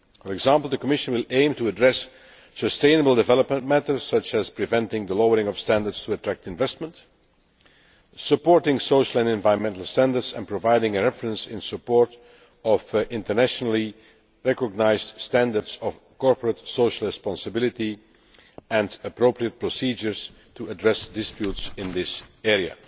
For example, the Commission will aim to address sustainable development matters such as preventing the lowering of standards to attract investment, supporting social and environmental standards, and providing a reference in support of internationally recognised standards of corporate social responsibility and appropriate procedures to address disputes in this area.